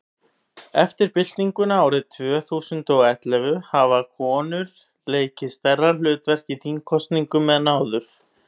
eftir byltinguna árið tvö þúsund og og ellefu hafa konur leikið stærra hlutverk í þingkosningum en áður